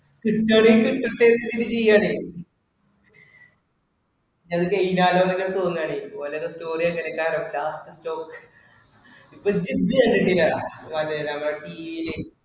കുട്ട്യോള് ഒക്കെ പ്രത്യേക രീതി ചെയ്യാണ്. അത് ചെയ്താലൊന്ന് ഒക്കെ തോന്നുകയാണ്‌. വല്ലോരുടേം story ഒക്കെ എടുക്കാല്ലോ last stop